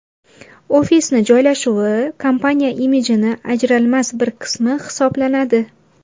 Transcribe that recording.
Ofisni joylashuvi kompaniya imijini ajralmas bir qismi hisoblanadi.